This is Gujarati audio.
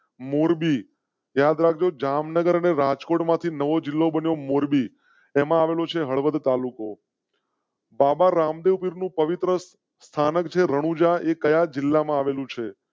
મોરબી, જામનગર અને રાજકોટ માંથી નવો જિલ્લો મોરબી માં આવેલું છે. હળવદ તાલુકો. બાબા રામદેવ પીર નું પવિત્ર સ્થાનક છે. રણુજા એ કયા જિલ્લામાં આવેલું છે?